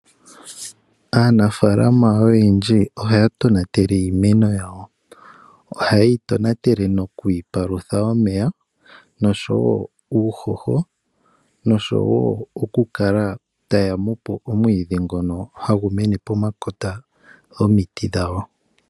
Aannafaalama oyendji ohaya tonatele iimeno yawo. Ohaye yi tonatele noku yi palutha omeya nosho wo uuhoho, nosho wo okukala taya tudha po omwiidhi ngoka hagu mene pomakota gomiti dhawo.